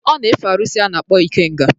Ọ na-efe arụsị a na-akpọ ikenga.